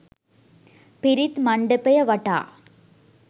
පිරිත් මණ්ඩපය වටා